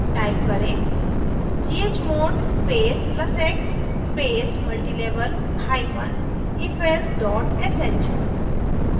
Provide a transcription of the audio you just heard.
type करें: chmod space plus x space multilevel hyphen ifelse dot sh